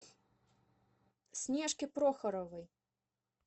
снежке прохоровой